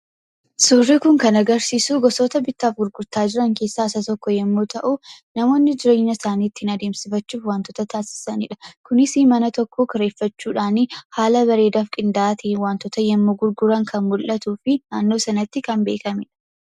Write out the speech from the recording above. Suurri kun kan agarsiisu gosoota bittaaf gurgurtaa keessaa isa tokko yoo ta’u, namoonni jireenya isaanii ittiin adeemsifachuuf wantoota taasisanidha. Kunis mana tokko kireeffachuudhaan haala bareedaaf qindaa'aa ta'een wantoota yommuu gurguran kan mul'atuu fi naannoo sanatti kan beekamedha.